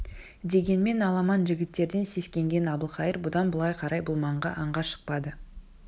дегенмен аламан жігіттерден сескенген әбілқайыр бұдан былай қарай бұл маңға аңға шықпады